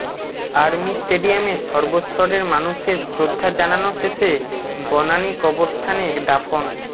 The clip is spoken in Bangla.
আর্মি স্টেডিয়ামে সর্বস্তরের মানুষের শ্রদ্ধা জানাজা শেষে বনানী কবরস্থানে দাফন